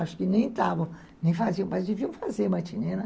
Acho que nem faziam, mas deviam fazer matinê, né?